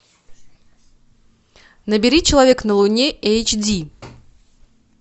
набери человек на луне эйч ди